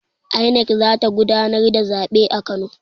INEC za ta gudanar da zabe a Kano.